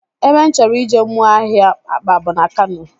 Ebe m chọrọ ije mụọ ahịa akpa bụ na Kano